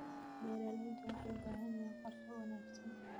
Beeraleydu waxay u baahan yihiin qorshe wanaagsan.